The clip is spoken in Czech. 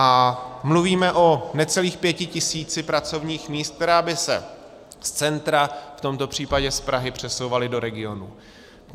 A mluvíme o necelých pěti tisících pracovních míst, která by se z centra, v tomto případě z Prahy, přesouvala do regionů.